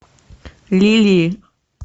лилии